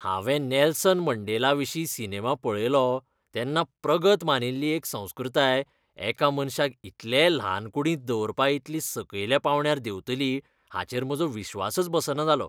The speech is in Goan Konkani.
हांवें नेल्सन मंडेलाविशीं सिनेमा पळयलो तेन्ना प्रगत मानिल्ली एक संस्कृताय एका मनशाक इतले ल्हान कूडींत दवरपा इतली सकयल्या पावंड्यार देंवतली हाचेर म्हजो विस्वासच बसना जालो.